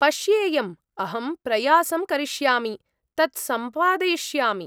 पश्येयम्, अहं प्रयासं करिष्यामि, तत् सम्पादयिष्यामि।